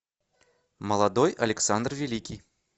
молодой александр великий